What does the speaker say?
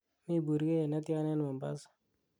mi burgeiyet netyan en mombasa